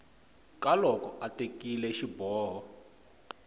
ka loko a tekile xiboho